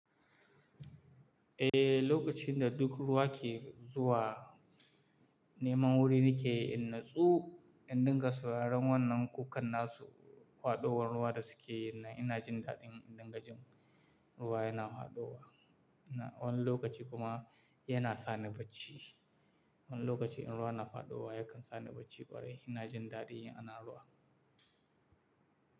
Eh, lokacin da duk ruwa ke zuwa neman wuri nakeyi, in natsu in dinga sauraron wannan kukan na su faɗuwar ruwa da su ke yinnan ina jin daɗin in dingajin ruwa yana faɗuwa. Wani lokaci kuma yana sa ni bacci. Wani lokaci in ruwa na faɗowa yakan sa ni bacci kwarai ina jin daɗin ana ruwa.